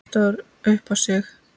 Þetta vatt upp á sig.